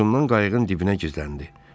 Qorxusundan qayıqın dibinə gizləndi.